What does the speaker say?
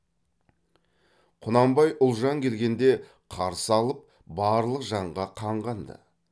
құнанбай ұлжан келгенде қарсы алып барлық жанға қанған ды